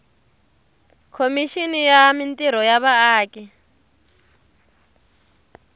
khomixini ya mintirho ya vaaki